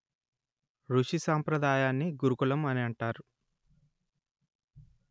ఋషి సాంప్రదాయాన్ని గురుకులం అని అంటారు